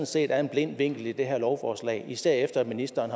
set er en blind vinkel i det her lovforslag især efter at ministeren